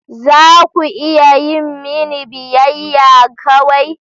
Za ku iya yi mini biyayya kawai?